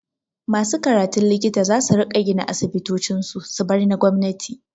Masu karatun likita zasu riƙa gina asibitocin su, su bar na gwamnati.